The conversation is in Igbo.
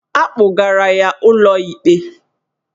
Agbụgara ya ụlọikpe